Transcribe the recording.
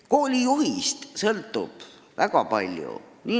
Koolijuhist sõltub väga palju.